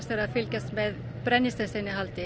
verið að fylgjast með brennisteins innihaldi